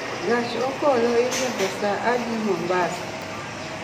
Gach okolo iriembo saa adi Mombasa?